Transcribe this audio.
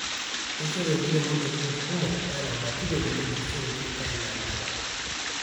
keishoru enkiremo ntokinitin kumok anaa material naitobirishoreki enaa dapan